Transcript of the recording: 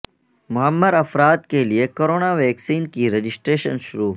معمر افراد کے لئے کرونا ویکسین کی رجسٹریشن شروع